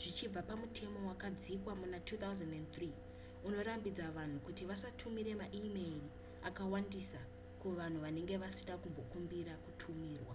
zvichibva pamutemo wakadzikwa muna 2003 unorambidza vanhu kuti vasatumira maimeyiri akawandisa kuvanhu vanenge vasina kumbokumbira kutumirwa